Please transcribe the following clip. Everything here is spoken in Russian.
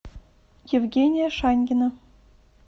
евгения шаньгина